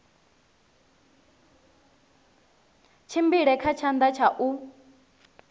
tshimbile kha tshanḓa tsha u